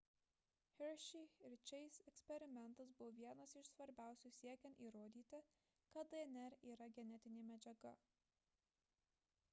hershey ir chase eksperimentas buvo vienas iš svarbiausių siekiant įrodyti kad dnr yra genetinė medžiaga